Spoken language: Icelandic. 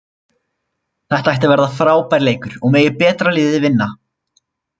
Þetta ætti að verða frábær leikur og megi betra liðið vinna.